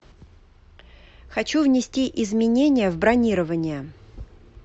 хочу внести изменения в бронирование